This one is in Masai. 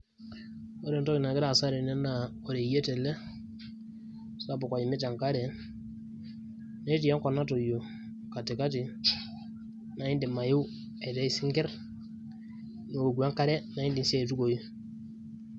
Ore entoki nagira aasa tene naa oreyiet ele sapuk oimita enkare, netii enkop natoyio katikati naa indim ayeu aitayu isinkirr, niwoku enkare naa indim sii aitukuoyu.